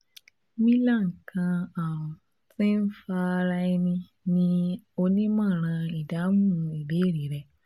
milan kan arun ti nfa ara ẹni ni onimọran idahun ibeere rẹ